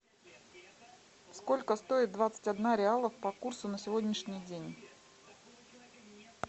сколько стоит двадцать одна реала по курсу на сегодняшний день